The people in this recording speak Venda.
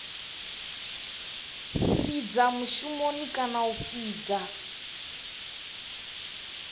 fhidza mushumoni kana a fhidza